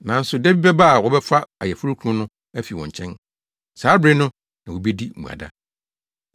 Nanso da bi bɛba a wɔbɛfa ayeforokunu no afi wɔn nkyɛn; saa bere no na wobedi mmuada.”